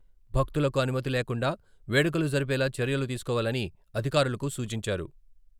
భక్తులకు అనుమతి లేకుండా వేడుకలు జరిపేలా చర్యలు తీసుకోవాలని అధికారులకు సూచించారు.